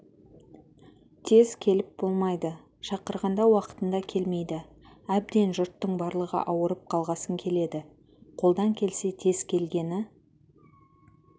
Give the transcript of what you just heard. тез келіп болмайды шақырғанда уақытында келмейді әбден жұрттың барлығы ауырып қалғасын келеді қолдан келсе тез келгені